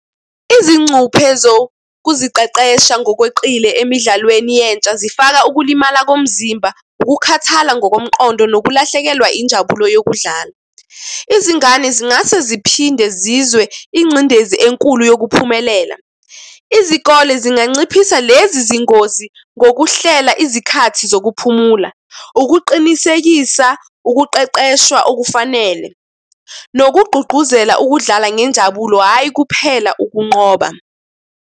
Izincuphe zokuziqeqesha ngokweqile emidlalweni yentsha zifaka ukulimala komzimba, ukukhathala ngokomqondo nokulahlekelwa injabulo yokudlala. Izingane zingase ziphinde zizwe ingcindezi enkulu yokuphumelela. Izikole zinganciphisa lezi zingozi ngokuhlela izikhathi zokuphumula. Ukuqinisekisa ukuqeqeshwa okufanele nokugqugquzela ukudlala ngenjabulo, hhayi kuphela ukunqoba.